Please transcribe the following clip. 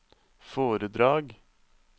foredrag